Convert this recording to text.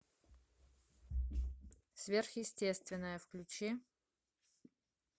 сверхъестественное включи